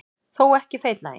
Þó ekki feitlaginn.